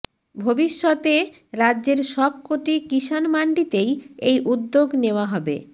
ভবিষত্যে রাজ্যের সবকটি কিষাণ মাণ্ডিতেই এই উদ্যোগ নেওয়া হবে